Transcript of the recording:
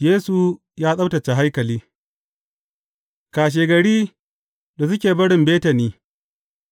Yesu ya tsabtacce haikali Kashegari, da suke barin Betani,